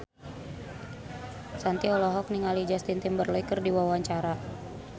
Shanti olohok ningali Justin Timberlake keur diwawancara